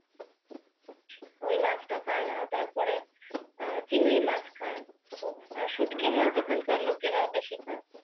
ওই মাছটা খায় তারপরে চিংড়ি মাছ খায়। শুটকিমাছ এখানকার লোকেরা বেশি খায়।